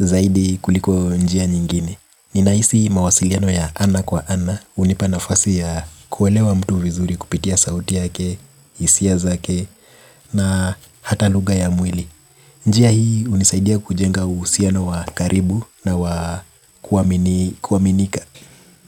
zaidi kuliko njia nyingine. Ninahisi mawasiliano ya ana kwa ana hunipa nafasi ya kuelewa mtu vizuri kupitia sauti yake, hisia zake na hata lugha ya mwili. Njia hii hunisaidia kujenga uhusiano wa karibu na wa kuaminika.